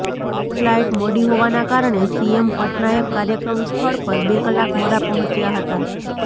flight મોડી હોવાના કારણે સીએમ પટનાયક કાર્યક્રમ સ્થળ પર બે કલાક મોડા પહોંચ્યા હતા